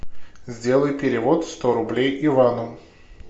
сделай перевод сто рублей ивану